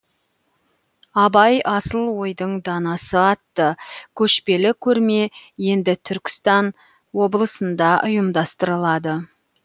абай асыл ойдың данасы атты көшпелі көрме енді түркістан облысында ұйымдастырылады